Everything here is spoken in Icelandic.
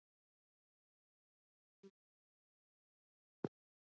Það er kristið hugtak.